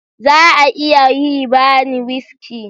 Za a iya yi bani wuski?